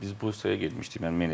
Biz Bursaya getmişdik.